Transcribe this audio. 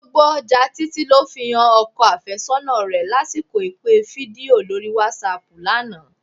Gbogbo ọjà Títí ló fi han ọkọ àfẹ́sọ́nà rẹ lásìkò ìpè fídíò lórí wásáaàpù lánàá